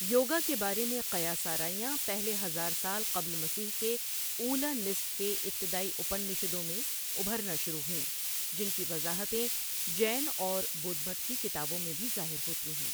یوگا کے بارے میں قیاس آرائیاں پہلے ہزار سال قبل مسیح کے اولی نصف کے ابتدائی اپنشدوں میں ابھرنا شروع ہوئیں، جن کی وضاحتیں جین اور بدھ مت کی کتابوں میں بھی ظاہر ہوتی ہیں۔